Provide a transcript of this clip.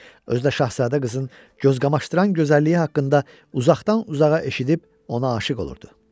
Özü də şahzadə qızın gözqamaşdıran gözəlliyi haqqında uzaqdan-uzağa eşidib ona aşiq olurdu.